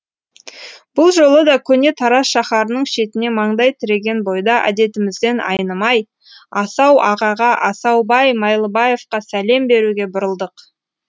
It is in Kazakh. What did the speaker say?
бұл жолы да көне тараз шаһарының шетіне маңдай тіреген бойда әдетімізден айнымай асау ағаға асаубай майлыбаевқа сәлем беруге бұрылдық